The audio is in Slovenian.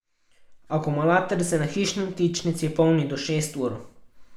Akumulator se na hišni vtičnici polni do šest ur.